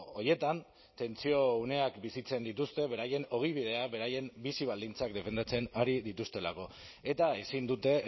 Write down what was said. horietan tentsio uneak bizitzen dituzte beraien ogibidea beraien bizi baldintzak defendatzen ari dituztelako eta ezin dute